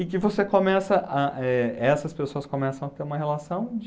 E que você começa, ah eh essas pessoas começam a ter uma relação de...